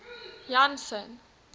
janson